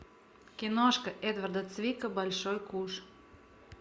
киношка эдварда цвика большой куш